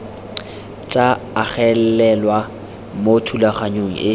tsa agelelwa mo thulaganyong e